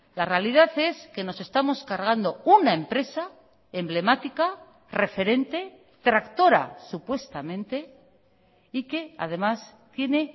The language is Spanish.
la realidad es que nos estamos cargando una empresa emblemática referente tractora supuestamente y que además tiene